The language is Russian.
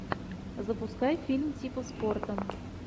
запускай фильм типа спорта